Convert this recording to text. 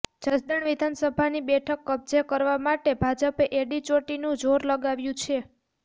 જસદણ વિધાનસભાની બેઠક કબજે કરવા માટે ભાજપે એડીચોટીનું જોર લગાવ્યું છે